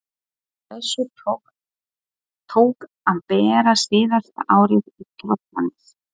Á þessu tók að bera síðasta árið í Tröllanesi.